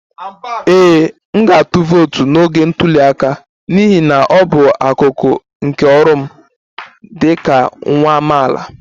Ee, m ga-atụ vootu n'oge ntuli aka n'ihi na ọ bụ akụkụ nke ọrụ m dị ka nwa amaala